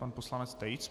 Pan poslanec Tejc.